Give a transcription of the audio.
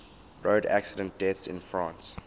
road accident deaths in france